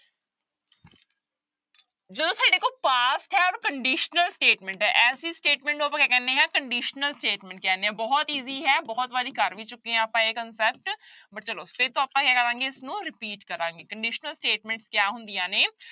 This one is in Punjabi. ਜਦੋਂ ਸਾਡੇ ਕੋਲ past ਹੈ ਔਰ conditional statement ਹੈ ਐਸੀ statement ਨੂੰ ਆਪਾਂ ਕਿਆ ਕਹਿਨੇ ਹੈਂ conditional statement ਕਹਿਨੇ ਹਾਂ ਬਹੁਤ easy ਹੈ ਬਹੁਤ ਵਾਰੀ ਕਰ ਵੀ ਚੁੱਕੇ ਹਾਂ ਆਪਾਂ ਇਹ concept but ਚਲੋ ਫਿਰ ਤੋਂ ਆਪਾਂ ਕਿਆ ਕਰਾਂਗੇ ਇਸਨੂੰ repeat ਕਰਾਂਗੇ conditional statement ਕਿਆ ਹੁੰਦੀਆਂ ਨੇ,